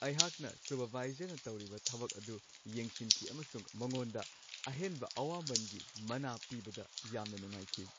ꯑꯩꯍꯥꯛꯅ ꯁꯨꯄꯔꯚꯥꯏꯖꯔꯅ ꯇꯧꯔꯤꯕ ꯊꯕꯛ ꯑꯗꯨ ꯌꯦꯡꯁꯤꯟꯈꯤ ꯑꯃꯁꯨꯡ ꯃꯉꯣꯟꯗ ꯑꯍꯦꯟꯕ ꯑꯋꯥꯃꯟꯒꯤ ꯃꯅꯥ ꯄꯤꯕꯗ ꯌꯥꯝꯅ ꯅꯨꯡꯉꯥꯏꯈꯤ ꯫